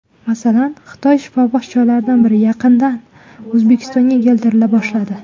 Masalan, Xitoy shifobaxsh choylaridan biri yaqindan O‘zbekistonga keltirila boshladi.